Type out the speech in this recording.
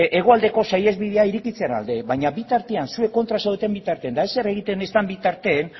hegoaldeko saihesbidea irekitzearen alde baina bitartean zuek kontra zaudeten bitartean eta ezer egiten ez den bitartean